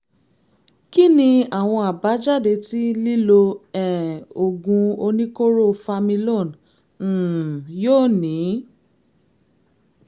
kí ni àwọn àbájáde tí lílo um oògùn oníkóró familon um yóò ní?